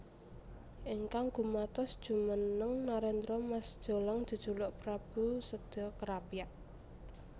Ingkang gumatos jumeneng nerendra Mas Jolang jejuluk Prabu Seda Krapyak